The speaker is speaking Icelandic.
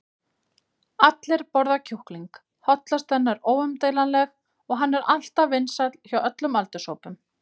allir borða kjúkling, hollustan er óumdeilanleg og hann er alltaf vinsæll hjá öllum aldurshópum.